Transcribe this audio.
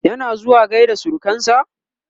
yana zuwa gaida surukansa?